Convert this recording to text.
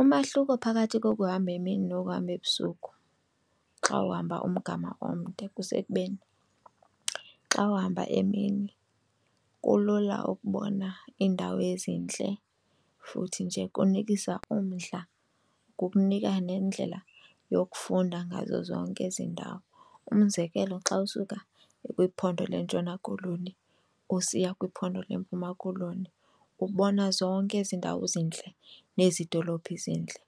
Umahluko phakathi kokuhamba emini nokuhamba ebusuku xa uhamba umgama omde kusekubeni xa uhamba emini, kulula ukubona iindawo ezintle futhi nje kunikisa umdla kukunika nendlela yokufunda ngazo zonke ezi ndawo. Umzekelo xa usuka kwiphondo leNtshona Koloni usiya kwiphondo leMpuma Koloni ubona zonke ezi ndawo zintle nezi dolophi ezintle